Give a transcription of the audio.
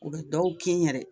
U bɛ dɔw kin yɛrɛ